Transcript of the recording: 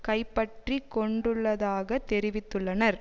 கைப்பற்றி கொண்டுள்ளதாக தெரிவித்துள்ளனர்